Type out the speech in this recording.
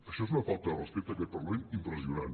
això és una falta de respecte a aquest parlament impressionant